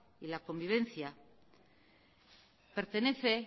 y la convivencia pertenece